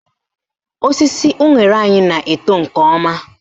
Osisi unere anyị na-eto nke ọma